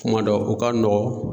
Kuma dɔ o ka nɔgɔn